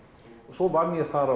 svo vann ég þar